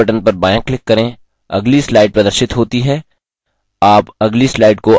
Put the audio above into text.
अब mouse button पर बायाँclick करें अगली slide प्रदर्शित होती है